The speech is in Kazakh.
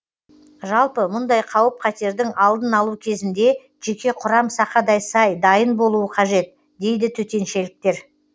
жалпы мұндай қауіп қатердің алдын алу кезінде жеке құрам сақадай сай дайын болуы қажет дейді төтеншеліктер